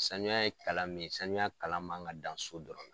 Sanuya ye kalan min ye sanuya kalan man kan ka dan so dɔrɔn.